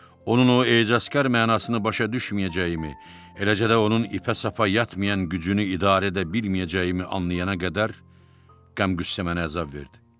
Onun o ecazkar mənasını başa düşməyəcəyimi, eləcə də onun ipək səfa yatmayan gücünü idarə edə bilməyəcəyimi anlayana qədər qəm-qüssə mənə əzab verdi.